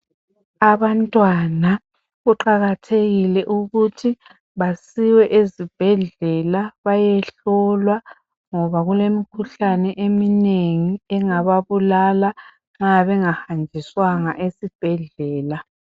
Abantwana kuqakathekile ukuthi basiwe ezibhedlela bayehlolwa ngoba kulemikhuhlane eminengi engababulala nxa bengahanjiswanga esibhedlela.